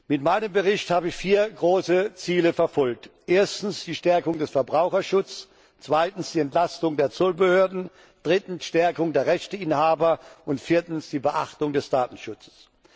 Mit meinem Bericht habe ich vier große Ziele verfolgt erstens die Stärkung des Verbraucherschutzes, zweitens die Entlastung der Zollbehörden, drittens die Stärkung der Rechteinhaber und viertens die Beachtung des Datenschutzes.